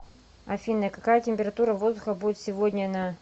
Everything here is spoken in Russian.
афина какая температура воздуха будет сегодня на